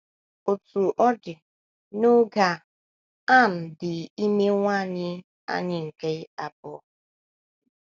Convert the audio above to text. Otú ọ dị, n’oge a, Ann dị ime nwa anyị anyị nke abụọ.